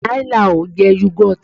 Nai láò jẹ́ yọ́gọ́tì.